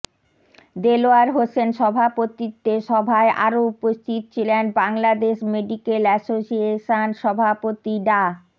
দেলোয়ার হোসেন সভাপতিত্বে সভায় আরও উপস্থিত ছিলেন বাংলাদেশ মেডিকেল অ্যাসোসিয়েশন সভাপতি ডা